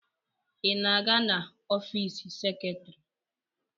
Ị na-aga n'ọfiisi seketrị?